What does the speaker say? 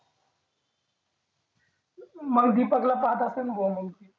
मग दीपक ला पाहत असेल मग ती